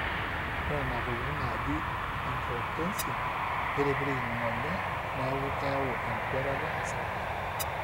ore nena tokitin naaji angiotensin neitipirrik ingonyo neeku keyau enkwetata osarge